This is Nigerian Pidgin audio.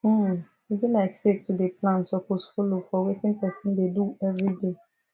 hmmm e be like say to dey plan suppose follow for wetin person dey do everyday